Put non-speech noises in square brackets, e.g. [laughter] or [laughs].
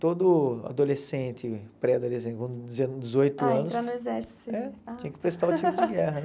Todo adolescente, pré-adolescente vamos dizer dezoito anos. Ah, entrar no exército? É, tinha que prestar o tiro de guerra. [laughs]